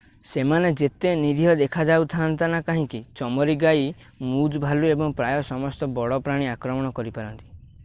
ସେମାନେ ଯେତେ ନିରୀହ ଦେଖାଯାଉନ୍ତା ନା କାହିଁକି ଚମରୀ ଗାଈ ମୁଜ୍ ଭାଲୁ ଏବଂ ପ୍ରାୟ ସମସ୍ତ ବଡ଼ ପ୍ରାଣୀ ଆକ୍ରମଣ କରିପାରନ୍ତି